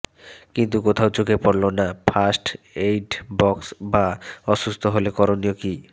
কিন্তু কোথাও চোখে পড়ল না ফার্স্ট এইড বক্স বা অসুস্থ হলে করণীয় কী